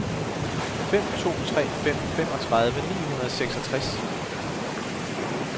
fem to tre fem femogtredive ni hundrede og seksogtres